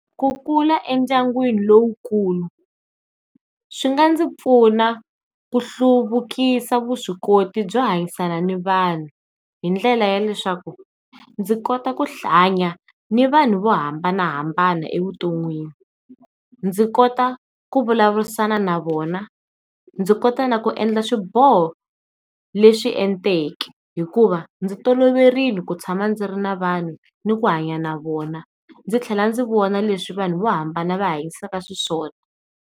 Ku kula endyangwini lowukulu swi nga ndzi pfuna ku hluvukisa vuswikoti byo hanyisana ni vanhu hi ndlela ya leswaku ndzi kota ku hanya ni vanhu vo hambanahambana evuton'wini, ndzi kota ku vulavurisana na vona, ndzi kota na ku endla swiboho leswi enteke hikuva ndzi toloverile ku tshama ndzi ri na vanhu ni ku hanya na vona. Ndzi tlhela ndzi vona leswi vanhu vo hambana va hanyisaka xiswona.